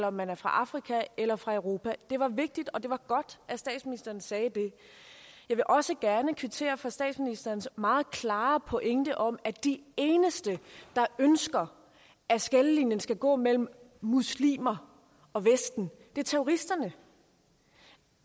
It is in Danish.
om man er fra afrika eller fra europa det var vigtigt og det var godt at statsministeren sagde det jeg vil også gerne kvittere for statsministerens meget klare pointe om at de eneste der ønsker at skillelinjen skal gå mellem muslimer og vesten er terroristerne